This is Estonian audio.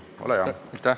Ole hea!